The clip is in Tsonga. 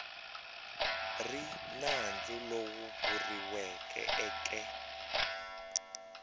ri nandzu lowu vuriweke eke